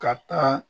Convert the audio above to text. Ka taa